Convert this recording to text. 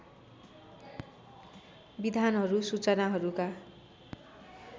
विधानहरू र सूचनाहरूका